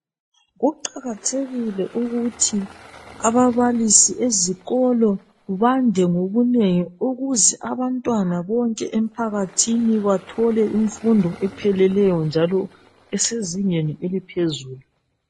Kuqakathekile ukuthi ababalisi ezikolo bande ngobunengi ukuze abantwana bonke emphakathini bathole imfundo epheleleyo njalo esezingeni eliphezulu.